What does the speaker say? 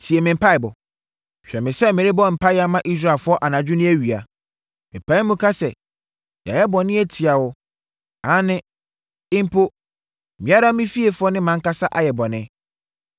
tie me mpaeɛbɔ. Hwɛ me sɛ merebɔ mpaeɛ ma Israelfoɔ anadwo ne awia. Mepae mu ka sɛ, yɛayɛ bɔne atia wo. Aane, mpo, me ara me fiefoɔ ne mʼankasa ayɛ bɔne!